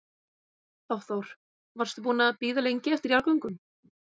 Hafþór: Varstu búin að bíða lengi eftir jarðgöngum?